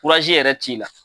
yɛrɛ t'i la.